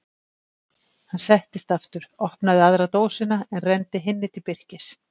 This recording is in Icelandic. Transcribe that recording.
Hann settist aftur, opnaði aðra dósina en renndi hinni til Birkis.